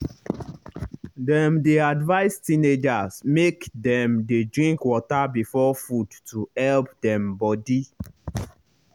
dem dey advise teenagers make dem dey drink water before food to help dem body.